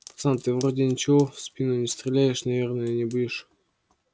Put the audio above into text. пацан ты вроде ничего в спину стрелять наверное не будешь